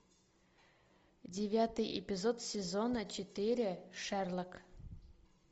девятый эпизод сезона четыре шерлок